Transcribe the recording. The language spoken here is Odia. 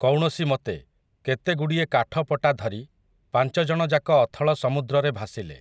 କୌଣସି ମତେ, କେତେଗୁଡ଼ିଏ କାଠପଟା ଧରି, ପାଞ୍ଚଜଣଯାକ ଅଥଳ ସମୁଦ୍ରରେ ଭାସିଲେ ।